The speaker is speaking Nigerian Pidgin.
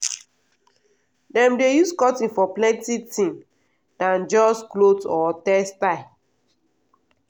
dem dey use cotton for plenty thing dan just cloth or textile.